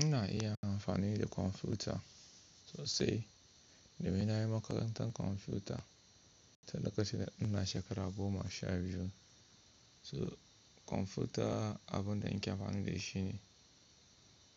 Ina iya amfani da kwamfuta sosai, domin na yi makarantar kwamfuta, sadaka shine ina shekara goma sha biyu. So kwamfuta abin da ake amfani da shi ne,